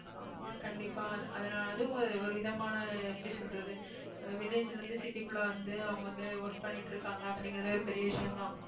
ஆமா கண்டிப்பா அது அது நான் அதுவும் ஒரு விதமான எப்படி சொல்றது village ல இருந்து city க்குள்ள வந்து அவங்க வந்து work பண்ணிட்டு இருக்காங்க அப்படிங்கறதே ஒரு பெரிய விஷயம்தான்